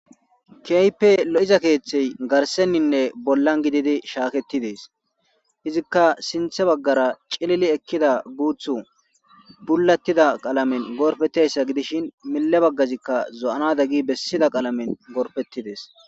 Keype lo'iza keeththey garsenninne bollan gididi shaaketidees izikka sinthe baggara cilili ekkida guuthu bulattida qalamen gorfetteyssa gidishin mille baggazikka zo'anada gi bessida qalamen gorpettidees